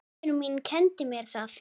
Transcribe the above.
Móðir mín kenndi mér það.